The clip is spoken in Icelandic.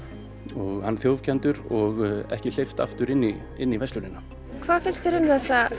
og hann þjófkenndur og ekki hleypt aftur inn í inn í verslunina hvað finnst þér um þessa